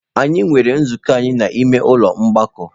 Anyị nwere nzukọ anyị n'ime ụlọ ọgbakọ.